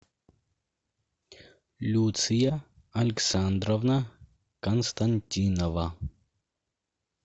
люция александровна константинова